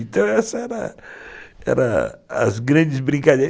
Então essas eram eram as grandes brinca